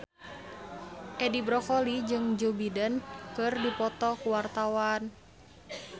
Edi Brokoli jeung Joe Biden keur dipoto ku wartawan